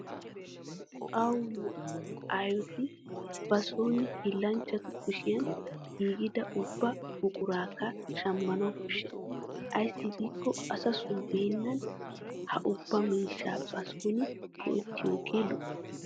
Awu nu aayooti ba soon hiillanchchatu kushiyan giigida ubba buquraakka shammanawu koshshes. Ayssi giikko asasoo beennan ha ubba miishshaa ba son go'ettiyooge lo'o.